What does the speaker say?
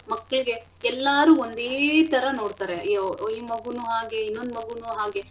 ಮಕ್ಳಿಗೆ ಎಲ್ಲಾರೂ ಒಂದೇಥರಾ ನೋಡ್ತಾರೆ ಅಯ್ಯೋ ಈ ಮಗುನು ಹಾಗೆ ಇನ್ನೊಂದ್ ಮಗೂನೂ ಹಾಗೆ.